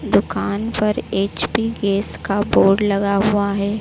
दुकान पर HP gas का बोर्ड लगा हुआ है।